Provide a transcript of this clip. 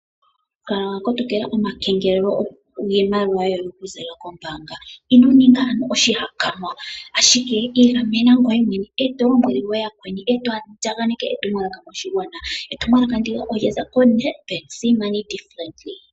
Kala wa kotokela omakengelelo, opo iimaliwa yoye kayikuthweko kombaanga. Ino ninga oshihakanwa ashike igamena ngoye mwene oshowo yakweni eto andjakaneke etumwalaka koshigwana. Etumwalaka ndika olyaza koNedbank.